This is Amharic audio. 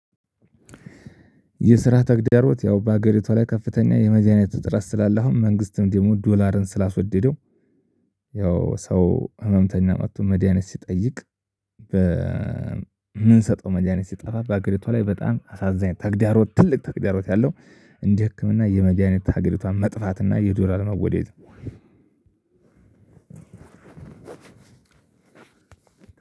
የስራ ተግዳሮት ያው በሀገሪቷ ላይ ከፍተኛ የመጨረሻ ትረስ ስላለው አሁን መንግስትም ደግሞ ዶላርን ስላስወደደው። ያው ሰው ህመምተኛ መጥቶ መድያኒት ሲጠይቅ። በምንሰጠው ሰጠው መጃኒት ሲጠፋ በአገሪቷ ላይ በጣም አሳዛኝ ተግዳሮት ትልቅ ተግዳሮት ያለው። እንዲህ ህክምና የመግያኒት ሀገሪቷን መጥፋትና የዶላር መወደድ